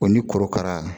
O ni korokara